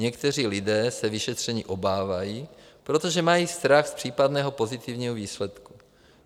Někteří lidé se vyšetření obávají, protože mají strach z případného pozitivního výsledku.